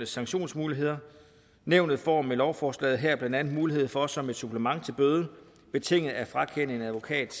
sanktionsmuligheder nævnet får med lovforslaget her blandt andet mulighed for som et supplement til bøde betinget at frakende en advokat